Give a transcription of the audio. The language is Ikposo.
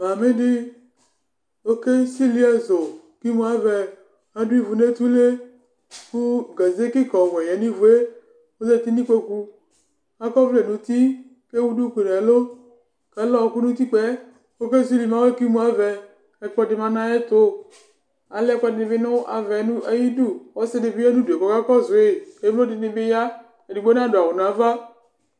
Davidi ɔkesili ɛzʋ kʋ imʋ avɛ adʋ ivʋ nʋ etule kʋ gaze kika ɔwɛ yanʋ ivue kʋ ɔzati nʋ ikpokʋ akɔ ɔvlɛ nʋ uti kʋ ewʋ duku nʋ ɛlʋ kʋ ɛlʋ abu nʋ utipka yɛ kʋ okesili awɛ kʋ imʋ avɛ ɛkplɔ lɛnʋ ayʋ ɛtʋ alɛ ɛkʋedi bi nʋ avɛ nʋ iyʋ idʋ ɔsidibi yanʋ ʋdʋ yɛ kʋ ɔkakɔsʋ yi emlo dini bi ya edigbo nadʋ awʋ nʋ ava